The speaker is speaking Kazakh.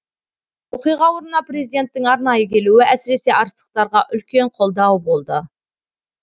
оқиға орнына президенттің арнайы келуі әсіресе арыстықтарға үлкен қолдау болды